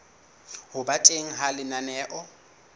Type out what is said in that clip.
ho ba teng ha lenaneo